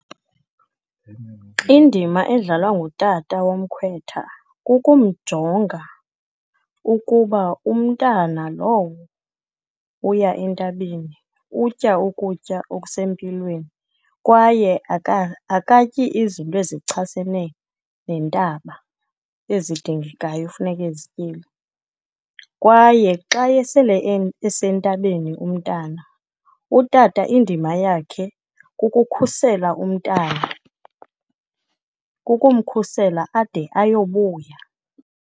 Indima edlalwa ngutata womkhwetha kukumjonga ukuba umntana lowo uya entabeni utya ukutya okusempilweni, kwaye akatyi izinto ezichasene nentaba, ezidingekayo funeka ezityile. Kwaye xa esele, esentabeni umntana utata indima yakhe kukukhusela umntana, kukumkhusela ade ayobuya.